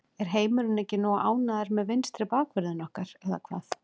Er heimurinn ekki nógu ánægður með vinstri bakvörðinn okkar eða hvað?